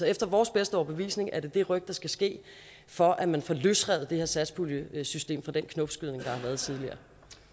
efter vores bedste overbevisning er det det ryk der skal ske for at man får løsrevet det her satspuljesystem fra den knopskydning der har været tidligere